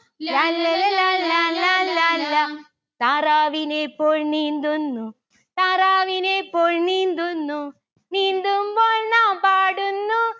ലാല്ലല ലാലാ ലാലാ ലാ. താറാവിനെ പോൽ നീന്തുന്നു. താറാവിനെ പോൽ നീന്തുന്നു. നീന്തുമ്പോൾ നാം പാടുന്നു